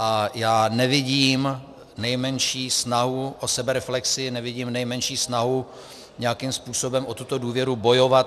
A já nevidím nejmenší snahu o sebereflexi, nevidím nejmenší snahu nějakým způsobem o tuto důvěru bojovat.